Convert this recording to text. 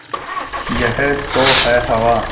यह तो है हवा